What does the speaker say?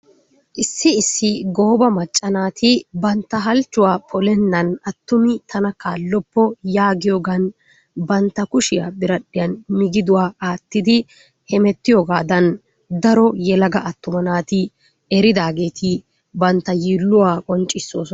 Issi issi gooba macca naati bantta halchchuwa polennan attumi tana kaalloppo yaagiyoogan bantta kushiya biradhiyan migiduwa aattidi hemettiyoogaadan daro yelaga attuma naati eridaageti bantta yiilluwa qonccisoosona.